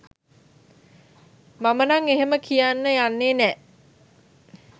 මම නං එහෙම කියන්න යන්නෙ නෑ